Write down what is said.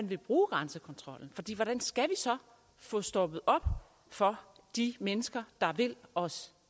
vil bruge grænsekontrollen fordi hvordan skal vi så få stoppet op for de mennesker der vil os